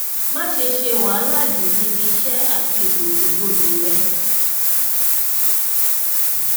má ṣe ṣe wàhálà jù níbi iṣẹ àti ìgbòkègbodò rẹ